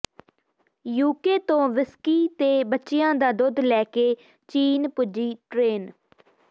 UK ਤੋਂ whisky ਤੇ ਬੱਚਿਆਂ ਦਾ ਦੁੱਧ ਲੈ ਕੇ ਚੀਨ ਪੁੱਜੀ ਟ੍ਰੇਨ